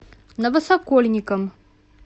новосокольникам